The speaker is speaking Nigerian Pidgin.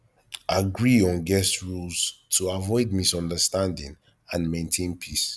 agree on guest rules to avoid misunderstandings and maintain peace